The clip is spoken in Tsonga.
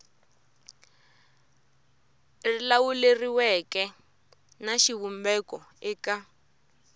ri lawuleriweke na xivumbeko eka